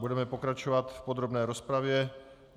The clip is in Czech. Budeme pokračovat v podrobné rozpravě.